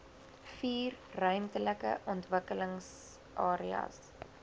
vier ruimtelike ontwikkelingsareas